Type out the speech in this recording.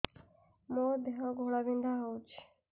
ମୋ ଦେହ ଘୋଳାବିନ୍ଧା ହେଉଛି